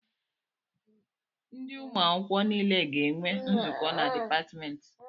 Ndị ụmụ akwụkwọ nile ga-enwe nzukọ na dịpatmentị